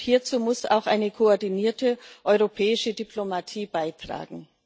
Hierzu muss auch eine koordinierte europäische Diplomatie beitragen.